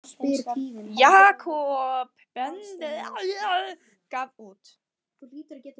Jakob Benediktsson gaf út.